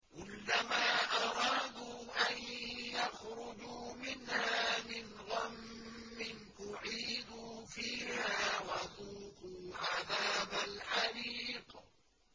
كُلَّمَا أَرَادُوا أَن يَخْرُجُوا مِنْهَا مِنْ غَمٍّ أُعِيدُوا فِيهَا وَذُوقُوا عَذَابَ الْحَرِيقِ